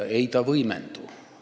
Ei võimendu!